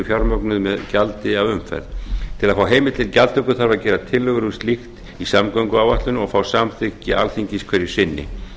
fjármögnuð með gjaldi af umferð til að fá heimild til gjaldtöku þarf að gera tillögur um slíkt í samgönguáætlun og fá samþykki alþingis hverju sinni